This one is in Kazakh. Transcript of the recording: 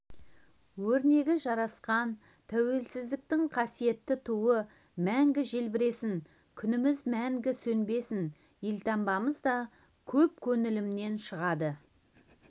өрнегі жарасқан тәуелсіздіктің қасиетті туы мәңгі желбіресін күніміз мәңгі сөнбесін елтаңбамыз да көп көңілінен шығады